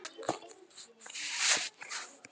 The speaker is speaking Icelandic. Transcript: Þau eru látin.